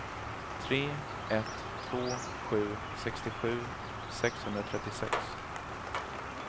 tre ett två sju sextiosju sexhundratrettiosex